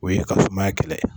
O ye ka sumaya kɛlɛ